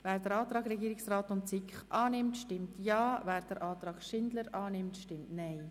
Wer den Antrag Regierungsrat/SiK annimmt, stimmt Ja, wer den Antrag Schindler annimmt, stimmt Nein.